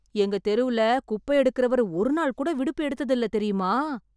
எங்க தெருல குப்பை எடுக்குறவர் ஒரு நாள் கூட விடுப்பு எடுத்தது இல்ல தெரியுமா?